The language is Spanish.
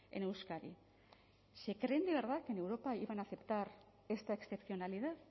en euskadi se creen de verdad que en europa iban a aceptar esta excepcionalidad